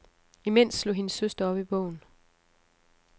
Imens slog hendes søster op i bogen.